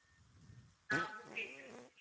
ah okay sir